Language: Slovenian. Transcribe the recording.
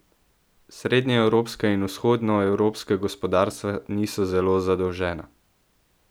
Srednjeevropska in vzhodnoevropska gospodarstva niso zelo zadolžena.